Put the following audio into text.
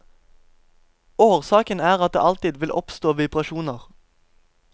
Årsaken er at det alltid vil oppstå vibrasjoner.